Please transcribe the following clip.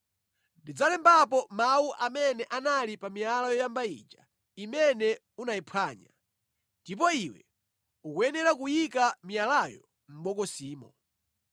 Ndidzalembapo mawu amene anali pa miyala yoyamba ija, imene unayiphwanya. Ndipo iwe ukuyenera kuyika miyalayo mʼbokosimo.”